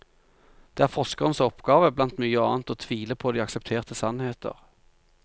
Det er forskerens oppgave, blant mye annet, å tvile på de aksepterte sannheter.